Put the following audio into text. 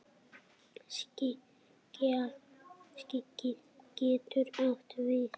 Skagi getur átt við